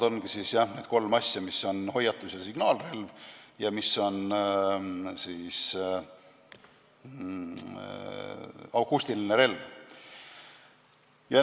Need kolm uut mõistet on hoiatusrelv, signaalrelv ja akustiline relv.